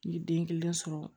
N ye den kelen sɔrɔ